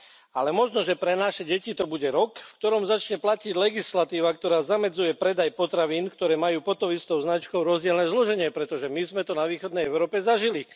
Ale možno pre naše deti to bude rok, v ktorom začne platiť legislatíva, ktorá zamedzuje predaj potravín, ktoré majú pod tou istou značkou rozdielne zloženie, pretože my sme to vo východnej Európe zažili.